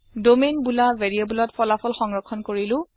domain বোলা ভেৰিয়েব্লত ফলাফল সংৰক্ষণ কৰিলো